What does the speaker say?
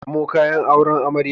Samo kayan auren amarya.